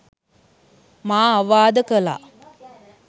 මා අවවාද කළා